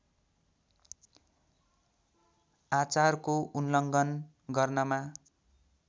आचारको उल्लङ्घन गर्नमा